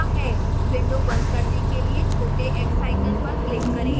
window बंद करने के लिए छोटे x icon पर click करें